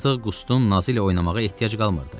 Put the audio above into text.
Artıq Qustun nazı ilə oynamağa ehtiyac qalmırdı.